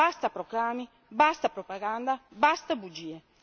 Basta proclami, basta propaganda, basta bugie.